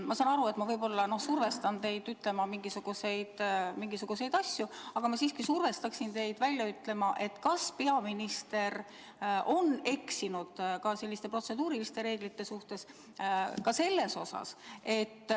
Ma saan aru, et ma võib-olla survestan teid ütlema mingisuguseid asju, aga ma siiski palun teil öelda, kas peaminister on eksinud ka protseduurireeglite vastu.